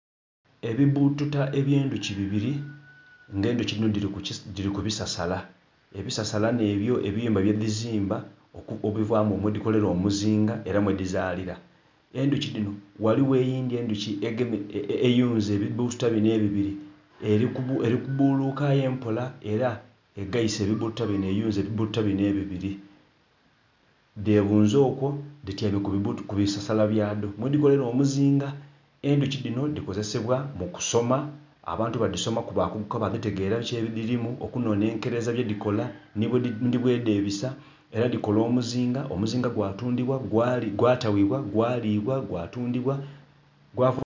Ebibututa eby'endhuki bibiri, nga endhuki dhino dili ku bisasala. Ebisasala nh'ebyo ebiyumba byedhizimba ebivaamu, mwedhikolera omuzinga era mwedhizalira. Endhuki dhino ghaligho eyindhi endhuki eyunze ebibututa bino ebibiri eli kubuluka aye mpola era egaise ebibututa bino eyunze ebibututa bino ebibiri. Dhebunze okwo dhityaime ku bisasala byadho, mwedhikolera omuzinga. Endhuki dhino dhikozesebwa mu kusoma, abantu badhisomaku bakuguka badhitegera biki ebidhirimu okunhonhenkereza byedhikola nhi bwedhebisa, era dhikola omuzinga, omuzinga gwa tundhibwa, gwatabibwa, gwalibwa, gwatundibwa